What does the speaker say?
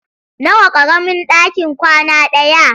Nawa ƙaramin ɗaki kwana ɗaya?